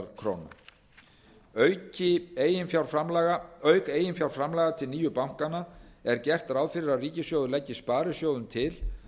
króna auk eiginfjárframlaga til nýju bankanna er gert ráð fyrir að ríkissjóður leggi sparisjóðum til